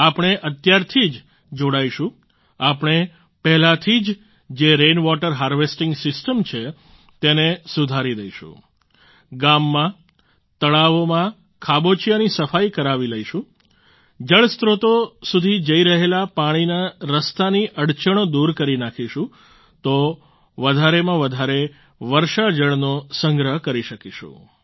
આપણે અત્યારથી જ જોડાઈશું આપણે પહેલાંથી જ જે રેન વોટર હાર્વેસ્ટિંગ સિસ્ટમ છે તેને સુધારી દઈશું ગામમાં તળાવોમાં ખાબોચિયાંની સફાઈ કરાવી લઈશું જળસ્ત્રોતો સુધી જઈ રહેલા પાણીના રસ્તાની અડચણો દૂર કરી નાખીશું તો વધારેમાં વધારે વર્ષા જળનો સંગ્રહ કરી શકીશું